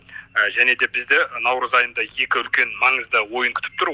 және де бізде наурыз айында екі үлкен маңызды ойын күтіп түр